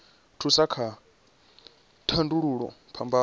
thusa kha u tandulula phambano